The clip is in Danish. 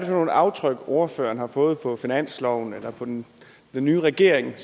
for nogle aftryk ordføreren har fået på finansloven eller på den nye regering